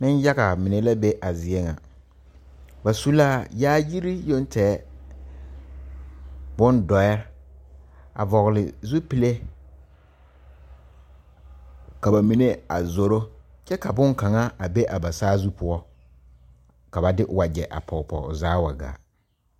Neŋyaga mine la be a zie ŋa ba su la yaayire yoŋ tɛgɛ bon dɔɛ a vɔgle zupile ka ba mine a zoro ka bonkaŋa a be a ba saazu poɔ ka ba de wagyɛ a pɔg pɔgoo zaa wa gaa.